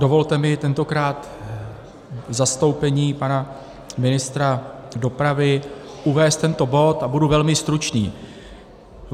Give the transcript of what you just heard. Dovolte mi tentokrát v zastoupení pana ministra dopravy uvést tento bod, a budu velmi stručný.